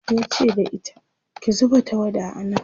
yace da ita "ki zuba tawada a nan!"